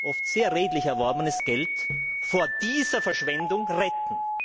oft sehr redlich erworbenes Geld vor dieser Verschwendung retten?